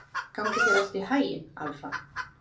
Gangi þér allt í haginn, Alfa.